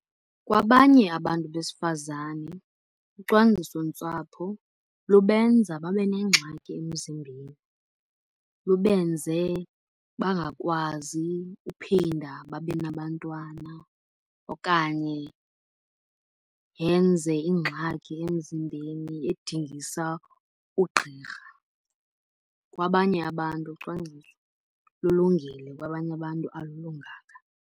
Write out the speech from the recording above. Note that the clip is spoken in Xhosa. Kwabanye abantu besifazane ucwangciso-ntsapho lubenza babe nengxaki emzimbeni. Lubenze bangakwazi uphinda babe nabantwana okanye yenze ingxaki emzimbeni edingisa ugqirha. Kwabanye abantu ucwangciso lulungile kwabanye abantu alilunganga.